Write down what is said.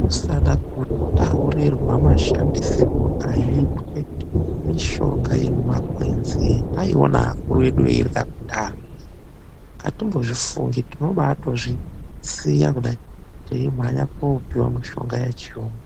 kusade kutaurirwa mashandisirwe aitwe mishonga yemumakwenzi etaiona akuru edu eirywa kudhaya, atimbozvifungi tinombaatozvisiya kudai teimhanyira koopuwe mushonga wechirungu.